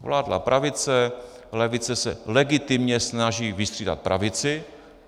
Vládla pravice, levice se legitimně snaží vystřídat pravici.